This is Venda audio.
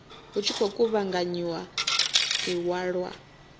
hu tshi khou kuvhanganyiwa iwalwa